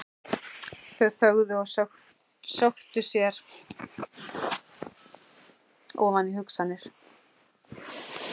Þau þögðu og sökktu sér ofan í hugsanir.